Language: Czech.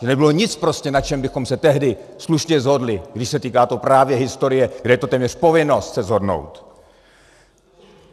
Že nebylo nic prostě, na čem bychom se tehdy slušně shodli, když se týká to právě historie, kde je to téměř povinnost se shodnout.